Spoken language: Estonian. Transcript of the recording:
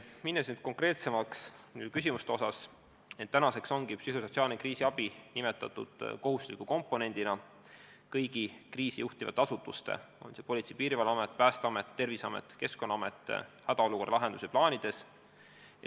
Minnes nüüd konkreetsete küsimuste juurde, märgin, et psühhosotsiaalne kriisiabi on kohustusliku komponendina kirjas kõigi kriisijuhtumitega tegelevate asutuste – Politsei- ja Piirivalveamet, Päästeamet, Terviseamet ja Keskkonnaamet – hädaolukorra lahenduse plaanides.